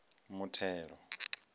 muthelo